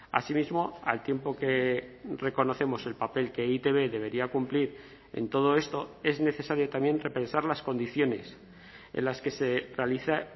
asimismo al tiempo que reconocemos el papel que e i te be debería cumplir en todo esto es necesario también repensar las condiciones en las que se realiza